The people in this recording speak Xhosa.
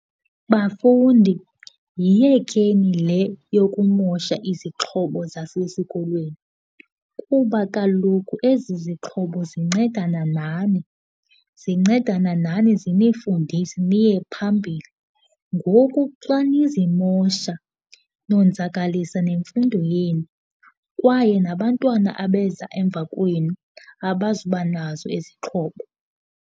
Bafundi, yiyekeni le yokumosha izixhobo zasesikolweni kuba kaloku ezi zixhobo zincedana nani, zincedana nani zinifundise niye phambili. Ngoku xa nizimosha nonzakalisa nemfundo yenu kwaye nabantwana abeza emva kwenu abazuba nazo izixhobo.